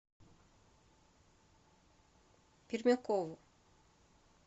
пермякову